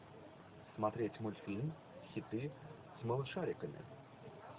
смотреть мультфильм хиты с малышариками